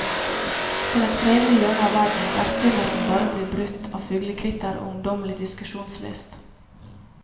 Til et fredelig hjørne av verden der stillheten bare blir brutt av fuglekvitter og ungdommelig diskusjonslyst.